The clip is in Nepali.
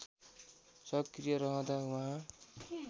सक्रिय रहँदा उहाँ